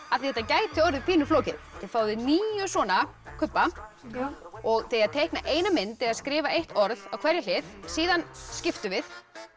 af því þetta gæti orðið pínu flókið þið fáið níu svona kubba og þið eigið að teikna eina mynd eða skrifa eitt orð á hverja hlið síðan skiptum við